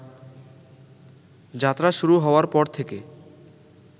যাত্রা শুরু হওয়ার পর থেকে